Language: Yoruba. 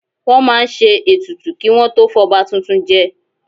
Wọ́n máa ń ṣe ètùtù kí wọn tó fọba tuntun jẹ